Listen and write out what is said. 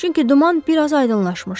Çünki duman biraz aydınlaşmışdı.